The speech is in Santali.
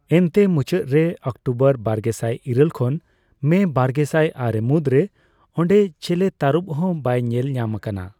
ᱮᱱᱛᱮ, ᱢᱩᱪᱟᱹᱫ ᱨᱮ, ᱚᱠᱴᱳᱵᱚᱨ ᱵᱟᱨᱜᱮᱥᱟᱭ ᱤᱨᱟᱹᱞ ᱠᱷᱚᱱ ᱢᱮ ᱵᱟᱨᱜᱮᱥᱟᱭ ᱟᱨᱮ ᱢᱩᱫᱽ ᱨᱮ ᱚᱸᱰᱮ ᱪᱮᱞᱮ ᱛᱟᱨᱩᱵᱽ ᱦᱚᱸ ᱵᱟᱭ ᱧᱮᱞᱧᱟᱢ ᱟᱠᱟᱱᱟ ᱾